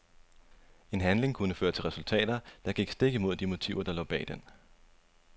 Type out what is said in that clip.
En handling kunne føre til resultater, der gik stik imod de motiver der lå bag den.